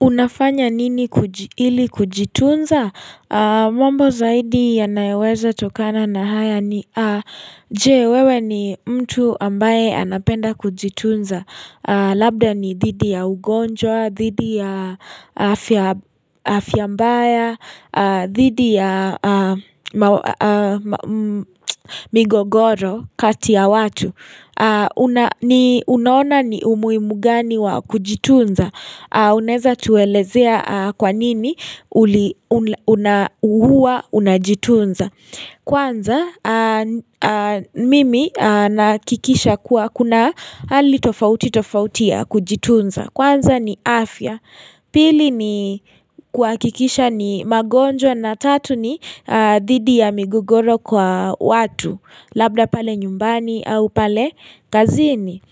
Unafanya nini ili kujitunza? Mambo zaidi yanayoweza tokana na haya ni Je wewe ni mtu ambaye anapenda kujitunza Labda ni thidi ya ugonjwa, dhidi ya afya mbaya, dhidi ya migogoro kati ya watu Unaona ni umuhimu gani wa kujitunza Unaeza tuelezea kwa nini huwa unajitunza Kwanza mimi nahakikisha kuwa kuna hali tofauti tofauti ya kujitunza Kwanza ni afya Pili ni kuhakikisha ni magonjwa na tatu ni dhidi ya migogoro kwa watu Labda pale nyumbani au pale kazini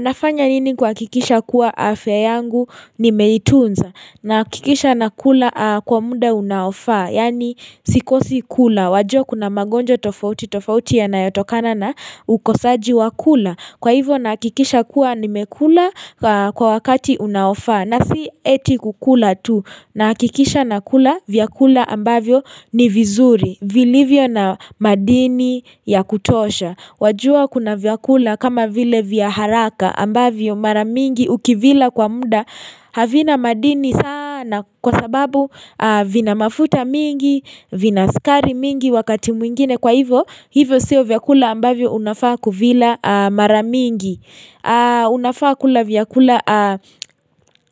Nafanya nini kuhakikisha kuwa afya yangu nimeitunza nahakikisha nakula kwa muda unaofaa Yaani sikosi kula wajua kuna magonjwa tofauti tofauti yanayotokana na ukosaji wa kula Kwa hivyo nahakikisha kuwa nimekula kwa wakati unaofaa na si eti kukula tu nahakikisha nakula vyakula ambavyo ni vizuri vilivyo na madini ya kutosha Wajua kuna vyakula kama vile vya haraka ambavyo mara mingi ukivila kwa muda havina madini sana kwa sababu vina mafuta mingi vina sukari mingi wakati mwingine kwa hivyo hivyo siyo vyakula ambavyo unafaa kuvila mara mingi Unafaa kula vyakula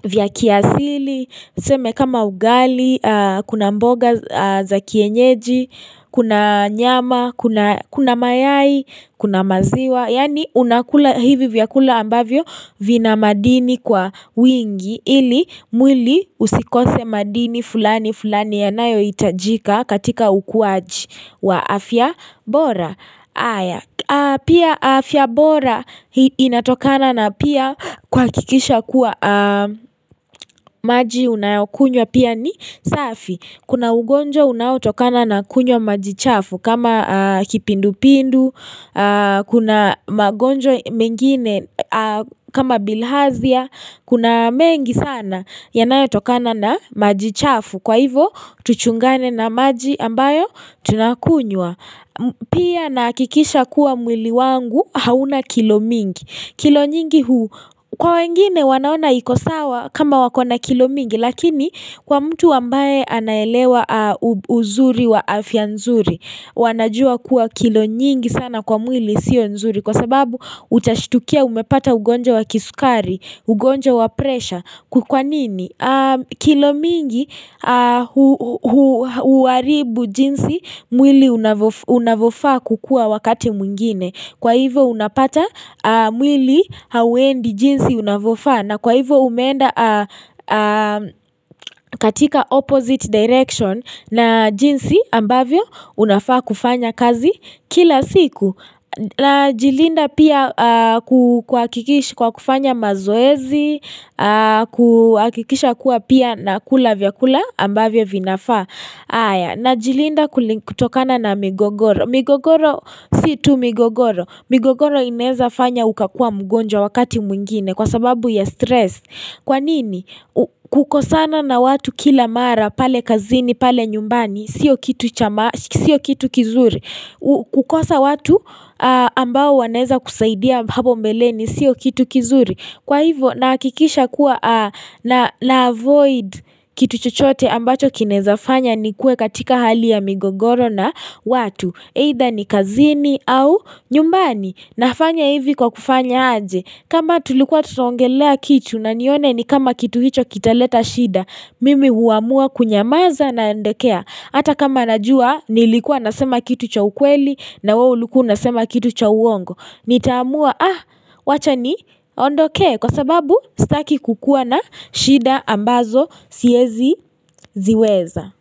vya kiasili Seme kama ugali, kuna mboga za kienyeji Kuna nyama, kuna mayai, kuna maziwa Yaani unakula hivi vyakula ambavyo vina madini kwa wingi Ili mwili usikose madini fulani fulani yanayohitajika katika ukuaji wa afya bora Pia afya bora inatokana na pia kuhakikisha kuwa maji unayokunywa pia ni safi Kuna ugonjwa unaotokana na kunywa maji chafu kama kipindupindu Kuna magonjwa mengine kama bilhazia Kuna mengi sana yanayotokana na maji chafu kwa hivo tuchungane na maji ambayo tunakunywa Pia nahakikisha kuwa mwili wangu hauna kilo mingi kilo nyingi huu kwa wengine wanaona iko sawa kama wakona kilo mingi Lakini kwa mtu ambaye anaelewa uzuri wa afya nzuri wanajua kuwa kilo nyingi sana kwa mwili sio nzuri Kwa sababu utashtukia umepata ugonjwa wa kisukari, ugonja wa pressure kwa nini? Kilo mingi huharibu jinsi mwili unavyofa kukua wakati mwingine Kwa hivo unapata mwili hauendi jinsi unavyofa na kwa hivo umeenda katika opposite direction na jinsi ambavyo unafaa kufanya kazi kila siku Najilinda pia kuhakikishi kwa kufanya mazoezi, kuhakikisha kuwa pia na kula vyakula ambavyo vinafaa. Na jilinda kutokana na migogoro, migogoro si tu migogoro. Migogoro inezafanya ukakuwa mgonjwa wakati mwingine kwa sababu ya stress. Kwanini, kukosana na watu kila mara pale kazini, pale nyumbani, sio kitu kizuri. Kukosa watu ambao wanaweza kusaidia hapo mbeleni sio kitu kizuri Kwa hivo nahakikisha kuwa na avoid kitu chochote ambacho kinaezafanya nikue katika hali ya migogoro na watu Either ni kazini au nyumbani nafanya hivi kwa kufanya aje kama tulikuwa tunaongelea kitu na nione ni kama kitu hicho kitaleta shida Mimi huamua kunyamaza na nadekea Hata kama najua nilikuwa nasema kitu cha ukweli na wewe ulikua unasema kitu cha uongo. Nitaamua ah wacha ni ondokee kwa sababu staki kukua na shida ambazo siezi ziweza.